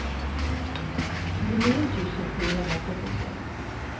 tjugonio tusen sjuhundratrettiosex